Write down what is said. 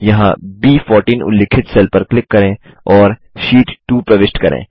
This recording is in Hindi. यहाँ ब14 उल्लिखित सेल पर क्लिक करें और शीट 2 प्रविष्ट करें